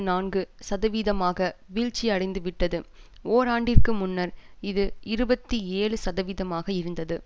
நான்கு சதவீதமாக வீழ்ச்சியடைந்துவிட்டது ஓராண்டிற்கு முன்னர் இது இருபத்தி ஏழு சதவிதமாக இருந்தது